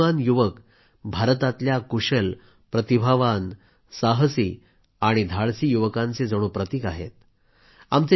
हे बुद्धिमान युवक भारतातल्या कुशल प्रतिभावान साहसी धाडसी युवकांचे जणू प्रतीक आहेत